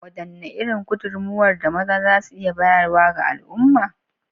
Wadanne irin gudummawar da maza za su iya bayarwa ga al’umma?